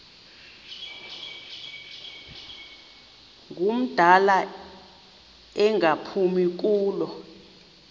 ngumdala engaphumi kulo